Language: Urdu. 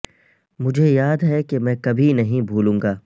مجھے یاد ہے کہ میں کبھی نہیں بھولوں گا